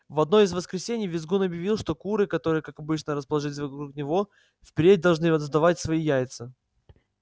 в одно из воскресений визгун объявил что куры которые как обычно расположились вокруг него впредь должны сдавать свои яйца